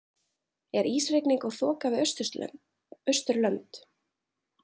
er ísrigning og þoka við austurlönd